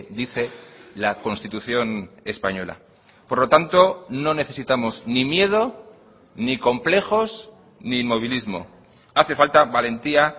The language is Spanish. dice la constitución española por lo tanto no necesitamos ni miedo ni complejos ni inmovilismo hace falta valentía